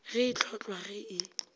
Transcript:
ge e hlotlwa ge e